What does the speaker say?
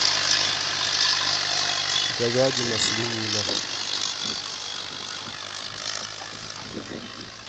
говядина свинина